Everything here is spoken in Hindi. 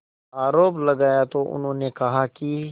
आरोप लगाया तो उन्होंने कहा कि